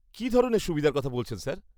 -কী ধরনের সুবিধার কথা বলছেন স্যার?